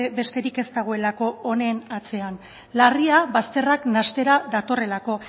besterik ez dagoelako honen atzean larria bazterrak nahastera datorrelako